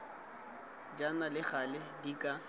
jaana le gale di ka